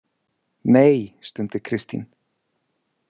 Nei, stundi Kristín.